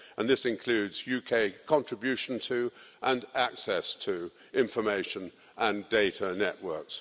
This includes UK contribution to, and access to, information and data networks.